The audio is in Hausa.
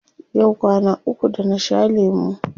Yau kwana uku da na sha lemu.